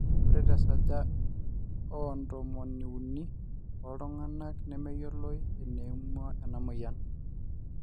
ore tesaja ooh ntomoni uni oo ltunganak nemeyioloi eneimua ena moyian